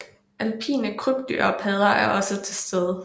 Alpine krybdyr og padder er også til stede